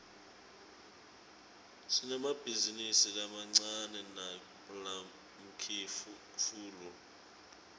sinemabhizinisi lamancane nalamkifulu